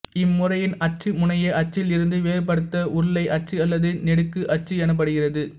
இம்முறையின் அச்சு முனய அச்சில் இருந்து வேறுபடுத்த உருளை அச்சு அல்லது நெடுக்கு அச்சு எனப்படுகிறது